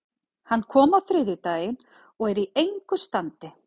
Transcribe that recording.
Hann kom á þriðjudaginn og er í engu standi.